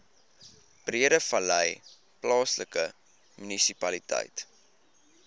breedevallei plaaslike munisipaliteit